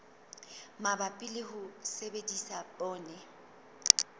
mabapi le ho sebedisa poone